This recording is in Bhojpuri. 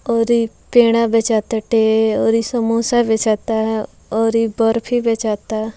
और एक पेड़ा बेचाटाटे और इ समोसा बेचता और बर्फी बेचता।